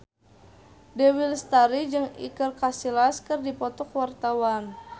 Dewi Lestari jeung Iker Casillas keur dipoto ku wartawan